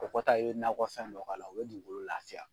O kɔ ta i be nakɔ fɛn dɔ k'a la o be dugukolo lafiya.